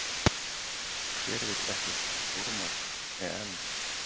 Hver vill ekki fara á stórmót, EM?